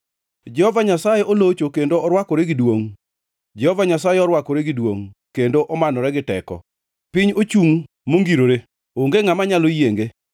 Jehova Nyasaye olocho kendo orwakore gi duongʼ, Jehova Nyasaye orwakore gi duongʼ, kendo omanore gi teko. Piny ochungʼ mongirore; onge ngʼama nyalo yienge.